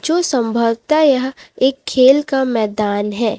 जो संभवतः यह एक खेल का मैदान है।